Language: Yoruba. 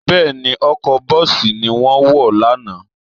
Bẹ́ẹ̀ni, ọkọ̀ bọ́ọ̀sì ni wọ́n wọ̀ lánàá